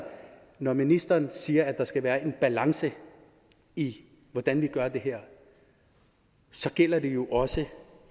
når ministeren siger at der skal være en balance i hvordan vi gør det her så gælder det jo også